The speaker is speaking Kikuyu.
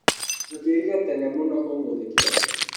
Njũkĩrire tene mũno ũmũthĩ kĩroko.